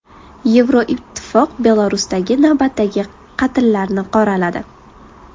Yevroittifoq Belarusdagi navbatdagi qatllarni qoraladi.